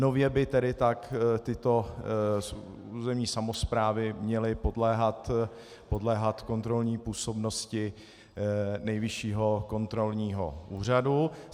Nově by tedy tak tyto územní samosprávy měly podléhat kontrolní působnosti Nejvyššího kontrolního úřadu.